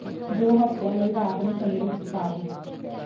ਦੋ ਹਫਤਿਆਂ ਲਈ ਰਾਤ ਨੂੰ ਚਮੜੀ ਵਿਚ ਪਾ ਦਿਓ